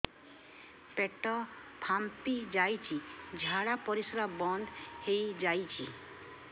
ପେଟ ଫାମ୍ପି ଯାଇଛି ଝାଡ଼ା ପରିସ୍ରା ବନ୍ଦ ହେଇଯାଇଛି